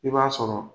I b'a sɔrɔ